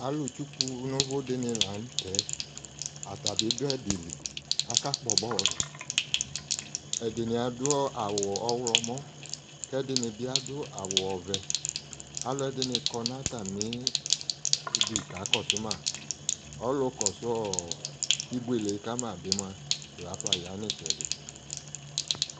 Alʋ tsu nʋ vʋ dɩnɩ la n'tɛ, ata bɩ dʋ ɛdɩ li, akpɔ bɔlʋ Ɛdɩnɩ adʋ awʋ ɔɣlɔmɔ, k'ɛdɩnɩ bɩ adʋ awʋ ɔvɛ Alʋɛdɩnɩ ya nʋ atamidʋ, k'aka kɔsʋ ma Ɔlʋ kɔsʋ ɔɔ ibuele yɛ kama bɩ mʋa lafa ya n'ɩtsɛdɩ